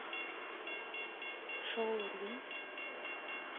шоурум